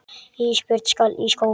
Ísbjörg skal í skóla.